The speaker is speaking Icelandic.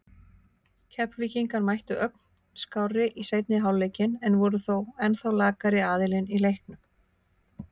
Keflvíkingar mættu ögn skárri í seinni hálfleikinn en voru þó ennþá lakari aðilinn í leiknum.